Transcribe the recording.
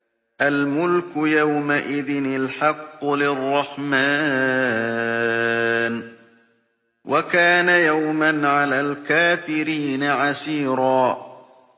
الْمُلْكُ يَوْمَئِذٍ الْحَقُّ لِلرَّحْمَٰنِ ۚ وَكَانَ يَوْمًا عَلَى الْكَافِرِينَ عَسِيرًا